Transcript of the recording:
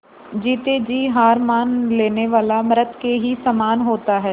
जीते जी हार मान लेने वाला मृत के ही समान होता है